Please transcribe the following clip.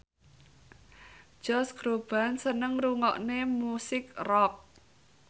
Josh Groban seneng ngrungokne musik rock